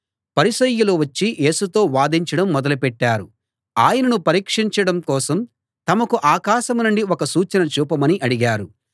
పరిసయ్యులు వచ్చి యేసుతో వాదించడం మొదలుపెట్టారు ఆయనను పరీక్షించడం కోసం తమకు ఆకాశం నుండి ఒక సూచన చూపమని అడిగారు